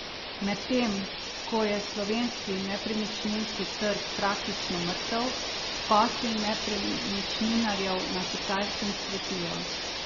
Medtem ko je slovenski nepremičninski trg praktično mrtev, posli nepremičninarjev na Kitajskem cvetijo.